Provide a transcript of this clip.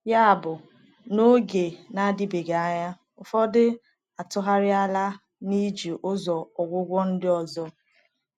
Yabụ, n’oge na-adịbeghị anya, ụfọdụ atụgharịala n’iji ụzọ ọgwụgwọ ndị ọzọ.